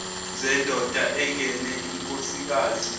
zendoda engene inkosikazi